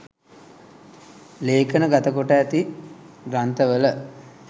ලේඛනගත කොට ඇති ග්‍රන්ථවල